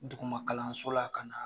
Duguma kalanlsola ka na